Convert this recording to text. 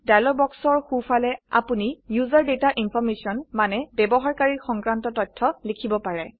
dialog বাক্সৰ সো ফালে আপোনি ওচেৰ ডাটা ইনফৰমেশ্যন মানে ব্যবহাৰকাৰী সংক্ৰান্ত তথ্য লিখিব পাৰে